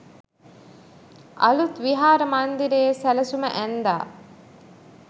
අලූත් විහාර මන්දිරයේ සැලසුම ඇන්දා